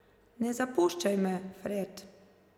Ne zapuščaj me, Fred.